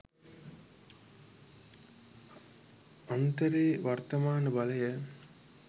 අන්තරේ වර්තමාන බලය